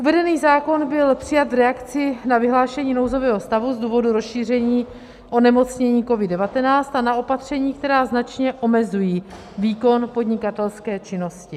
Uvedený zákon byl přijat v reakci na vyhlášení nouzového stavu z důvodu rozšíření onemocnění COVID-19 a na opatření, která značně omezují výkon podnikatelské činnosti.